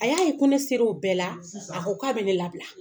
A y'a ye ko ne ser'o bɛɛ la a ko k'a bɛ ne labila.